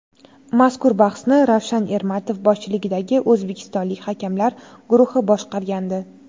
Mazkur bahsni Ravshan Ermatov boshchiligidagi o‘zbekistonlik hakamlar guruhi boshqargandi.